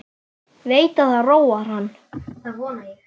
Veit að það róar hann.